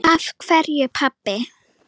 Af hverju, pabbi?